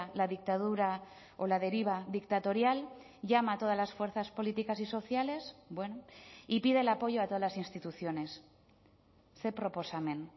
la dictadura o la deriva dictatorial llama a todas las fuerzas políticas y sociales bueno y pide el apoyo a todas las instituciones ze proposamen